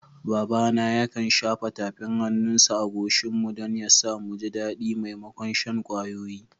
Babana yakan shafa tafin hannunsa a goshinmu don ya sa, mu ji daɗi maimakon shan kwayoyi.